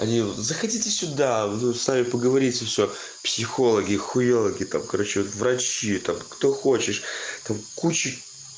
они заходите сюда ну с нами поговорить и всё психологи хуёлаги там короче врачи там кто хочешь там кучи